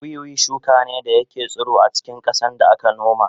Wiwi shuka ne da ke tsiro a cikin ƙasa da aka noma